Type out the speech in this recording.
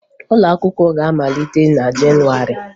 Ụlọakwụkwọ ga-amalite na Jenụwarị